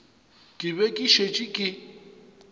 ka be ke šetše ke